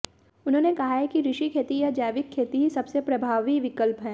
उन्होंने कहा है कि ऋषि खेती या जैविक खेती ही सबसे प्रभावी विकल्प है